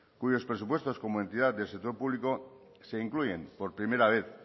cuyos presupuestos como entidad del sector público se incluyen por primera vez